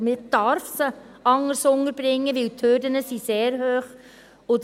Denn man darf sie anders unterbringen, weil die Hürden sehr hoch sind.